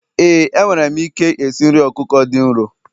éè, enwere m ike esi nri ọkụkọ dị nro